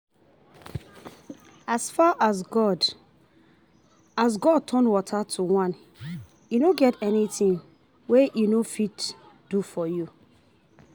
If you believe say God dey e no get anything wey you no go fit do